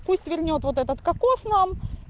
пусть вернёт вот этот кокос нам